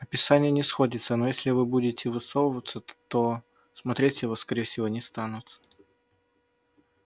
описание не сходится но если вы не будете высовываться то смотреть его скорее всего не станут